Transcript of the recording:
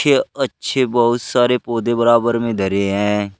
ये अच्छे बहुत सारे पौधे बराबर में धरे हैं।